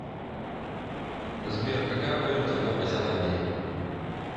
сбер какая валюта в новой зеландии